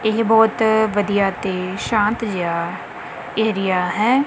ਏਹ ਬਹੁਤ ਵਧੀਆ ਤੇ ਸ਼ਾਂਤ ਜਿਹਾ ਏਰੀਆ ਹੈ।